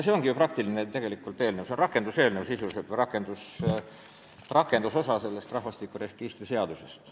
See ongi ju praktiline eelnõu, sisuliselt rakenduseelnõu või rahvastikuregistri seaduse rakendusosa.